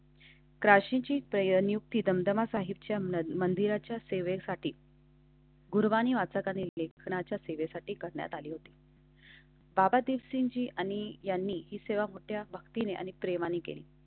काशीचीप्रयुक्ति दमदमा साहिबच्या मंदिराच्या सेवेसाठी. गुरुवाणी वाचा लेखकच्या सेवेसाठी करण्यात आली होती. बाबा दीपसिंह साहिब आणि यांनी ही सेवा मोठ्या भक्तीने आणि प्रेमाने केली